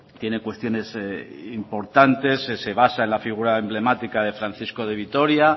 tiene cuestiones importantes se basa en la figura emblemática de francisco de vitoria